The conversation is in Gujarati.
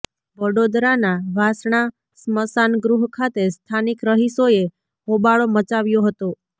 વડોદરાના વાસણા સ્મશાનગૃહ ખાતે સ્થાનિક રહીશોએ હોબાળો મચાવ્યો હતો